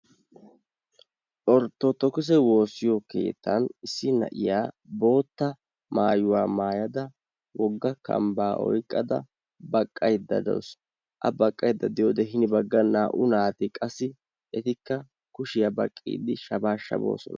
orttodookisse woossiyo keettan issi na'iyaa bootta maayuwa maayyada wogga kambba oyqqada baqqaydda dawus. a baqqaydda diyoode hini baggan qassi naa''u naati kushiyaa baqqidi shabaashaboosona.